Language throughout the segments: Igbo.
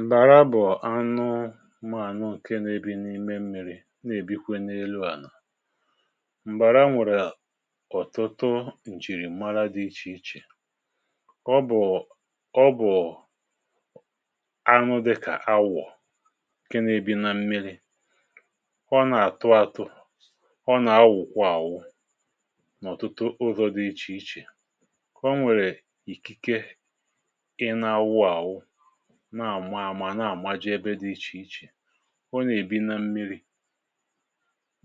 m̀bàra bụ̀ anụ̀ mánụ̀ ǹke nà-èbi n’ime mmi̇ri, ọ nà-èbikwazị n’elu ànà. m̀bàra nwèrè ọ̀tụtụ ǹjìrì mmalite dị iche iche, ọ bụ̀ anụ̀ dịkà awụ̀ ǹke nà-èbi nà mmiri̇. ọ nà-àtụ̀ atụ̀, ọ nà-awụ̀kwọ ànwụ̀ n’ụzọ̀ dị iche iche, kà o nwèrè ikikè na-àmụ̀ àmà nà-àmụ̀ ji ebe dị iche iche. ọ nà-èbi nà mmiri̇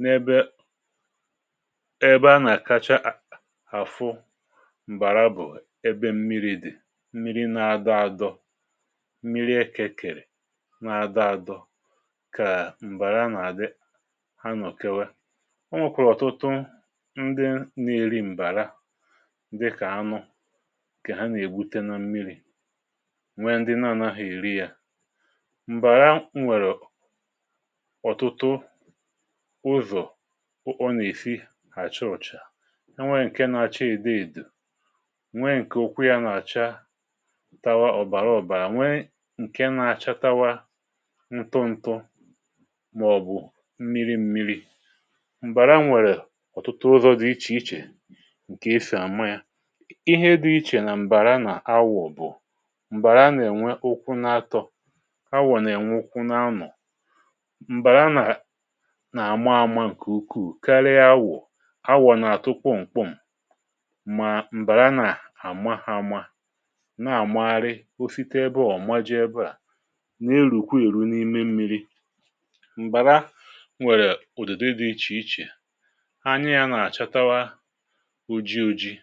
n’ebe a na-akáchà àfụ̀ m̀bàra bụ̀ ebe mmiri̇ dị̀, mmiri̇ na-adọ̀ àdọ̀, mmiri̇ e kèkèrè na-adọ̀ àdọ̀, kà m̀bàra nà-àdị. ha nọ̀ kewà, ọ nwèkwàrà ọtụtụ ndị nà-èri m̀bàra, dịkà ha nọ̀ kà ha nà-ègbute nà mmiri̇. m̀bàra nwèrè ọ̀tụtụ ụzọ̀ ọ nà-èfi àcha ụ̀cha. ha nwèrè ǹke na-acha èdèèdè, nwèrè ǹke ụkwụ yà na-àchàtawà ọ̀bàrà ọ̀bàrà, nwèrè ǹke na-acha ntụ́tụ́ màọ̀bụ̀ mmiri̇ mmiri̇. m̀bàra nwèrè ọ̀tụtụ ụzọ̀ dị iche iche ǹke esì àma yà ihe dị iche. nà m̀bàra nà àgwà bụ̀ a nwèrè n’ènwe ukwu n’atọ̇, a nà-ènwè ukwu n’anọ̀. m̀bàra nà àma àma ǹkè ukwuù karịa àgwà. àgwà nà-àtụ̀ kọ̀ m̀kpọm, um mà m̀bàra nà àma hàmà nà-àmagharị o site n’ebe ọ̀majị ebeà, n’elùkwa èru n’ime mmi̇ri. m̀bàra nwèrè ùdòdò dị iche iche, anya yà nà-àchatawà ojii,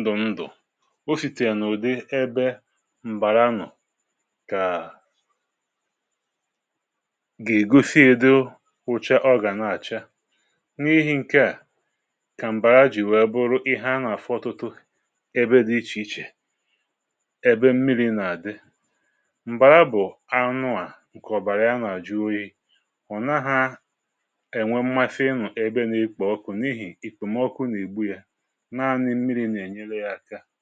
ndụ̀ ndụ̀, o sì tènà ụ̀dị ebe m̀bàra nọ̀ kà gà-ègosi edo wụ̀chà. ọ gà na-àchà n’ihì ǹkèà kà m̀bàra jì wee bụrụ ihe a nà-àfọ̀ tụtụ̀ ebe dị iche iche ebe mmiri̇ nà-àdị. m̀bàra bụ̀ anụ̀ ǹkè ọ̀bàrà yà nà-àjụ, ihe hụ̀nahȧ ènwè mmàfe nọ̀ ebe na-ekpò ọkụ n’ihì ikpò mọkụ nà igbu yà.